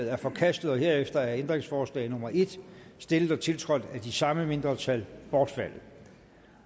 er forkastet herefter er ændringsforslag nummer en stillet og tiltrådt af de samme mindretal bortfaldet